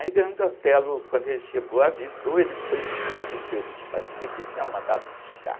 Aí Grande Otelo, quando ele chegou, avisou, ele foi todo feliz, parecia que ele tinha mandado buscar.